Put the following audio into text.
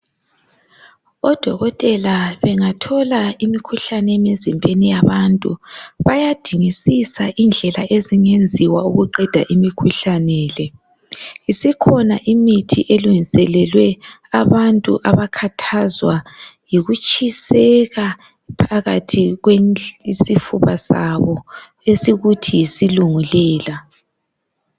Odokotela bengathola imikhuhlane emizimbeni yabantu bayadingisisa indlela ezingenziwa ukuqeda imikhuhlane le. Isikhona imithi elungiselelwe abantu abakhathazwa yikutshiseka phakathi kwenhl isifuba sabo esikuthi yisulungulela.